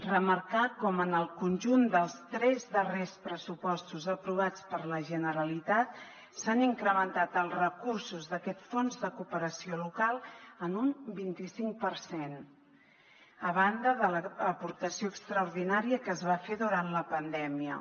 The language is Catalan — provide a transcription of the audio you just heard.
remarcar com en el conjunt dels tres darrers pressupostos aprovats per la generalitat s’han incrementat els recursos d’aquest fons de cooperació local en un vint i cinc per cent a banda de l’aportació extraordinària que es va fer durant la pandèmia